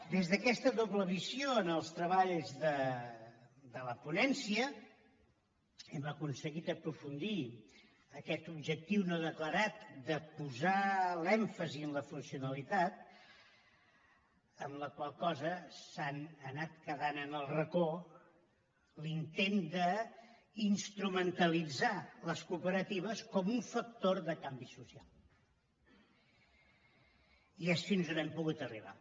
des d’aquesta doble visió en els treballs de la ponència hem aconseguit aprofundir aquest objectiu no declarat de posar l’èmfasi en la funcionalitat amb la qual cosa s’ha anat quedant en el racó l’intent d’instrumentalitzar les cooperatives com un factor de canvi social i és fins on hem pogut arribar